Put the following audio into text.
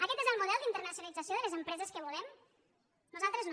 aquest és el model d’internacionalització de les empreses que volem nosaltres no